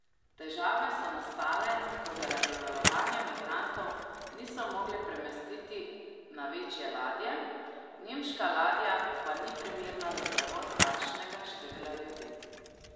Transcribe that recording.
Težave so nastale, ko zaradi valovanja migrantov niso mogli premestiti na večje ladje, nemška ladja pa ni primerna za prevoz takšnega števila ljudi.